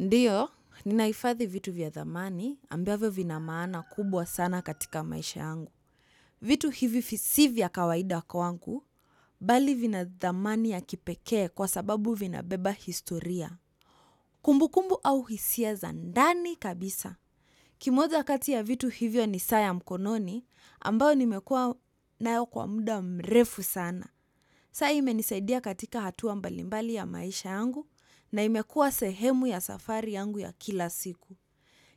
Ndio, ninahifathi vitu vya dhamani ambavyo vina maana kubwa sana katika maisha yangu. Vitu hivi si vya kawaida kwangu, bali vina dhamani ya kipekee kwa sababu vinabeba historia. Kumbu kumbu au hisia za ndani kabisa. Kimoja kati ya vitu hivyo ni saa ya mkononi, ambayo nimekua nayo kwa muda mrefu sana. Saa imenisaidia katika hatua mbali mbali ya maisha yangu na imekua sehemu ya safari yangu ya kila siku.